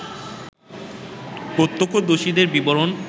প্রত্যক্ষদর্শীদের বিবরণ